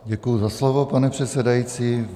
Děkuji za slovo, pane předsedající.